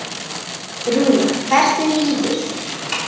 Rúnar, hvernig líður þér?